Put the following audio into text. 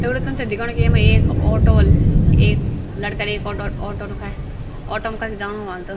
दगडियों तुम्थे दिखाणु की येमा एक ऑटो वल एक लड़का अर एक ऑटो ऑटो रुकाय ऑटो म कख जाणू वाल त।